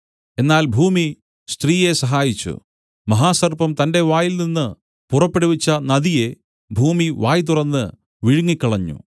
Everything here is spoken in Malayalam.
എന്നാൽ ഭൂമി സ്ത്രീയെ സഹായിച്ചു മഹാസർപ്പം തന്റെ വായിൽനിന്നു പുറപ്പെടുവിച്ച നദിയെ ഭൂമി വായ് തുറന്ന് വിഴുങ്ങിക്കളഞ്ഞു